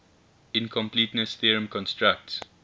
incompleteness theorem constructs